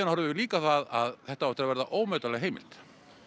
horfum við líka á það að þetta á eftir að verða ómetanleg heimild